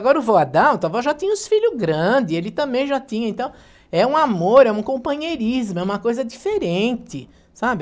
Agora o vô Adalto, a vó já tinha os filhos grandes, ele também já tinha, então é um amor, é um companheirismo, é uma coisa diferente, sabe?